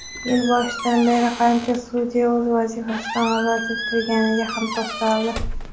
yil boshidan beri qancha sudya o‘z vazifasidan ozod etilganiga ham to‘xtaldi.